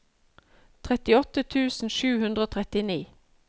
trettiåtte tusen sju hundre og trettini